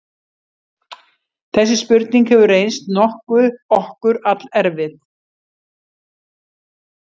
Þessi spurning hefur reynst okkur allerfið.